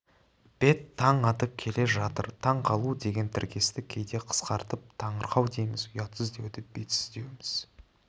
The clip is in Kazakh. бет-таң атып келе жатыр таң қалу деген тіркесті кейде қысқартып таңырқау дейміз ұятсыз деуді бетсіз деуіміз